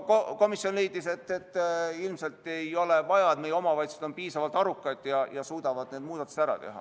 Komisjon leidis, et ilmselt seda ei ole vaja, meie omavalitsused on piisavalt arukad ja suudavad need muudatused ära teha.